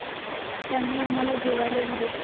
त्यांनी आम्हाला जेवायला दिले.